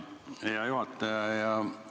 Hea juhataja!